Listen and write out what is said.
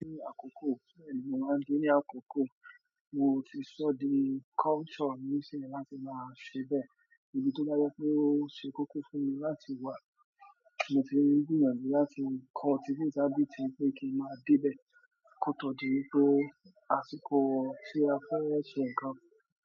Ní àkókò tí èmi máa ń gbé ní àkókò, mo ti sọ di culture ní ìsìn mi láti máa ṣe bẹ́ẹ̀. Èyí tó dá yọ pé ó ṣe kókó fún mi láti wá, mo ti gbìyànjú láti kọ́ ti bí tàbí ti pé kí n máa débẹ̀ kótó di pé àsìkò tí a fẹ́rẹ̀ẹ́ ṣe nǹkan.